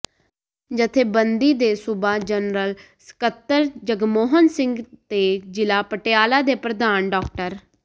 ਜਥੇਬੰਦੀ ਦੇ ਸੂਬਾ ਜਨਰਲ ਸਕੱਤਰ ਜਗਮੋਹਨ ਸਿੰਘ ਤੇ ਜ਼ਿਲ੍ਹਾ ਪਟਿਆਲਾ ਦੇ ਪ੍ਰਧਾਨ ਡਾ